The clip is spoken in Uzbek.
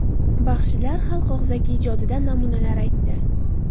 Baxshilar xalq og‘zaki ijodidan namunalar aytdi.